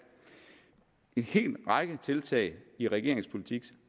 en hel række tiltag i regeringens politik